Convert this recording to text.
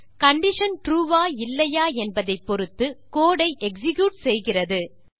condition true ஆ இல்லையா என்பதை பொறுத்து கோடு ஐ எக்ஸிக்யூட் செய்கிறது